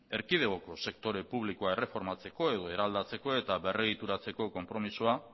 erkidegoko sektore publikoa erreformatzeko edo eraldatzeko eta berregituratzeko konpromezua